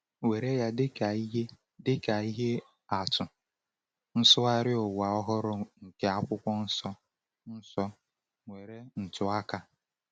Were ya dịka ihe dịka ihe atụ, Nsụgharị Ụwa Ọhụrụ nke Akwụkwọ Nsọ Nsọ — nwere ntụaka.